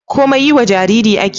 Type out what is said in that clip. komai yiwa Jariri ake